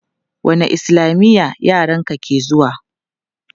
Wanne islamiya yaran ka ke zuwa?